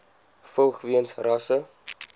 vlug weens rasse